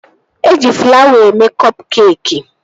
Eji flawa eme kọp keekị